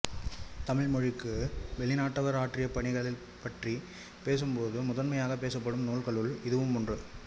தமிழ் மொழிக்கு வெளிநாட்டவர் ஆற்றிய பணிகள் பற்றிப் பேசும்போது முதன்மையாகப் பேசப்படும் நூல்களுள் இதுவும் ஒன்று